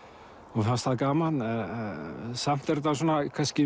og fannst það gaman samt er þetta kannski